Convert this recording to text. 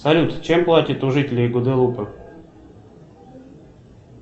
салют чем платят у жителей гваделупы